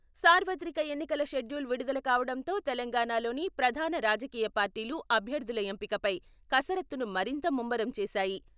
సార్వత్రిక ఎన్నికల షెడ్యూల్ విడుదల కావడంతో తెలంగాణలోని ప్రధాన రాజకీయ పార్టీలు అభ్యర్థుల ఎంపికపై కసరత్తును మరింత ముమ్మరం చేశాయి.